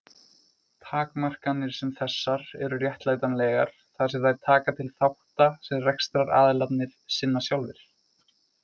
Takmarkanir sem þessar eru réttlætanlegar þar sem þær taka til þátta sem rekstraraðilarnir sinna sjálfir.